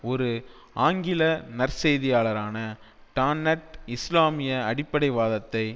ஒரு ஆங்கில நற்செய்தியாளரான டான்னட் இஸ்லாமிய அடிப்படைவாதத்தை